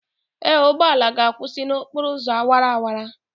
Ee, ụgbọ ala ga-akwụsị n'okporo ụzọ awara awara.